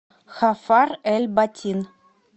хафар эль батин